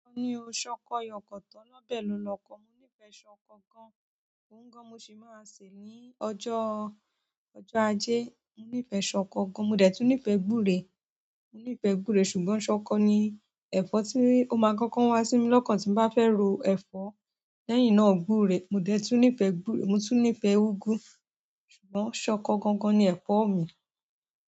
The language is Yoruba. Mo ní o, ṣọkọ yọkọ̀tọ́ ọlọbẹ lo lọkọ. Mo nífẹ̀ẹ́ ṣọkọ gan, òun gan mo sì máa sèé ní ọjọ́, ọjọ́ ajé. Mo nífẹ̀ẹ́ ṣọkọ gan, mo dẹ̀ tún nífẹ̀ẹ́ gúre. Mo nífẹ̀ẹ́ gúre ṣùgbọ́n ṣọkọ ni ẹ̀fọ́ tí ó máa kọkọ wá sí mi lọ́kàn tí mo bá fẹ́ ro ẹ̀fọ́ lẹ́yìn náà gúre. Mo dẹ̀ tún nífẹ̀ẹ́ gúre, mo tún nífẹ̀ẹ́ úgú. Ṣùgbọ́n ṣọkọ gangan ni ẹ̀fọ́ mi.